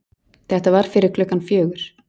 Þetta var fyrir klukkan fjögur.